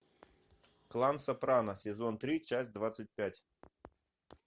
клан сопрано сезон три часть двадцать пять